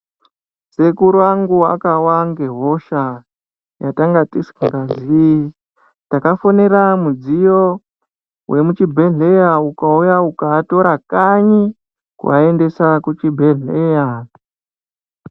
Sekuru angu akawa ngehosha yatangatisingazii takafonera mudziyo vemuzvibhedhleya ukauya ukaatora kanyi, ukuaendesa kuchibhedhleya.